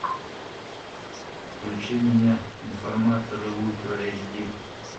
включи меня информаторы ультра эйч ди